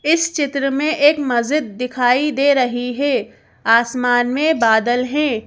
इस चित्र में एक मस्जिद दिखाई दे रही है आसमान में बादल है।